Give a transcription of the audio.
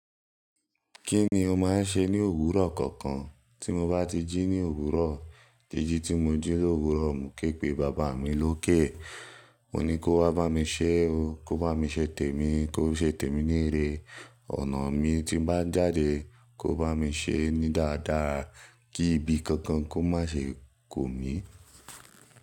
Kí ni o máa ń ṣe ní òwúrọ̀ kankan? Tí mo bá tí jí ní òwúrọ̀, jìjì tí mo jí lowurọ, mo ké pe bàbá mi lókè. Mo ní kó wá bá mi ṣé o, kó bá mi ṣe tèmi, kó ṣe tèmi ní ire, ọ̀nà mi tí n bá jáde kó bá mi ṣe ní dáadáa kí ibi kankan kó má ṣe kò mi.